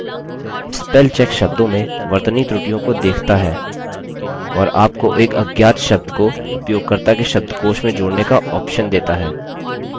spellcheck शब्दों में वर्तनी त्रुटियों को देखता है और आपको एक अज्ञात शब्द को उपयोगकर्ता के शब्दकोश में जोड़ने का ऑप्शन देता है